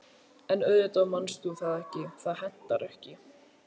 En auðvitað manst þú það ekki, það hentar ekki.